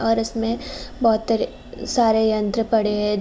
और इसमे बोहोत सारे यंत्र पड़े हैं।